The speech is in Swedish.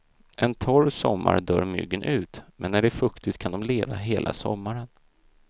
En torr sommar dör myggen ut, men är det fuktigt kan de leva hela sommaren.